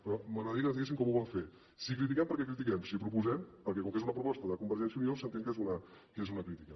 però m’agradaria que ens diguessin com ho volem fer si critiquem perquè critiquem si proposem perquè com que és una proposta de convergència i unió s’entén que és una crítica